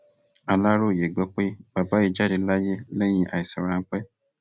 aláròyé gbọ pé bàbá yìí jáde láyé lẹyìn àìsàn ráńpẹ